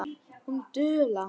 Hún dula.